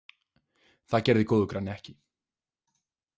Það gerði góður granni ekki.